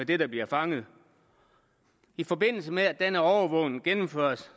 det der bliver fanget i forbindelse med at denne overvågning gennemføres